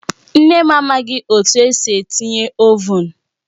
Nne m amaghị etu esi etinye Ovụn